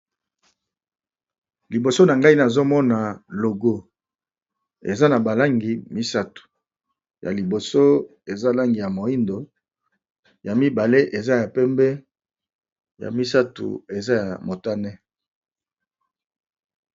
Liboso na ngai nazomona logo eza na balangi misato ya liboso eza langi ya moindo ya mibale eza ya pembe ya misato eza ya motane.